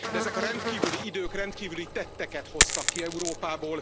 De ezek a rendkívüli idők rendkívüli tetteket hoztak ki Európából.